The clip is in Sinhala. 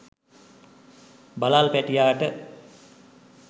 බළල් පැටියාට